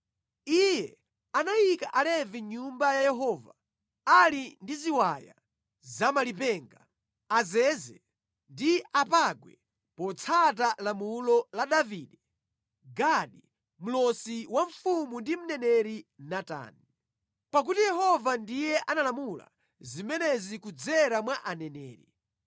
Iye anayika Alevi mʼNyumba ya Yehova ali ndi ziwaya za malipenga, azeze ndi apangwe potsata lamulo la Davide, Gadi mlosi wa mfumu ndi mneneri Natani. Pakuti Yehova ndiye analamula zimenezi kudzera mwa aneneri.